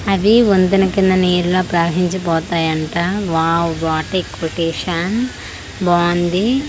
అది వంతెన కింద నీళ్ల ప్రవహించిపోతాయంట వావ్ వాట్ ఎ కొటేషన్ బావుంది.